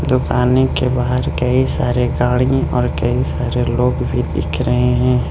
दुकान के बाहर कई सारे गाड़ी और कई सारे लोग भी दिख रहे हैं।